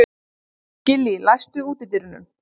Gillý, læstu útidyrunum.